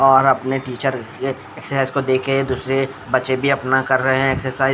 और अपने टीचर यह एक्सरसाइज को देख के दूसरे बच्चे भी अपना कर रहे है एक्सरसाइज --